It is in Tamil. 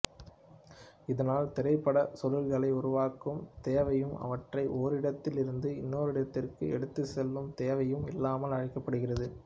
இதனால் திரைப்படச் சுருள்களை உருவாக்கும் தேவையும் அவற்றை ஓரிடத்தில் இருந்து இன்னோரிடத்துக்கு எடுத்துச் செல்லும் தேவையும் இல்லாமல் ஆக்கப்படுகிறது